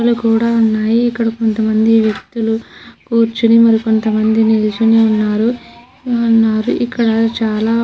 కూడా ఉన్నాయి ఇక్కడ కొంతమంది వ్యక్తులు కూర్చొని మరి కొంత మంది నిల్చుని ఉన్నారు ఉన్నారు ఇక్కడ చాలా.